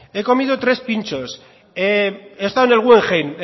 he comido tres pinchos he estado en el guggenheim